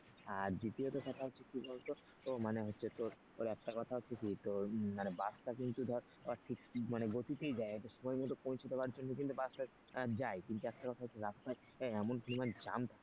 আর দ্বিতীয়ত কথা হচ্ছে কি বলতো মানে হচ্ছে তোর একটা কথা হচ্ছে কি তোর মানে বাসটা কিন্তু ধর ঠিক গতিতেই দেয় সময় মতো পৌছে দেওয়ার জন্য কিন্তু বাসটা যায় কিন্তু একটা কথা হচ্ছে রাস্তায় এমন পরিমাণ jam থাকে না,